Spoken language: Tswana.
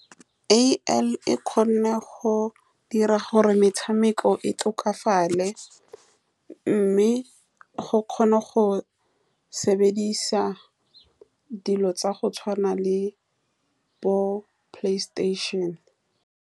A_I e kgona go dira gore metshameko e tokafale, mme o kgona go sebedisa dilo tsa go tshwana le bo PlayStation-e.